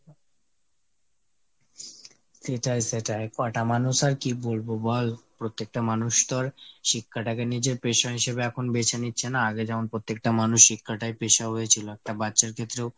সেটাই সেটাই ক'টা মানুষ আর কি বলবো বল। প্রত্যেকটা মানুষতো আর শিক্ষাটা কে নিজের পেশা হিসাবে এখন বেছে নিচ্ছে না আগে যেমন পত্তেকটা মানুষ শিক্ষাটাই পেশা হয়ে ছিল। একটা বাচ্ছার ক্ষেত্রেও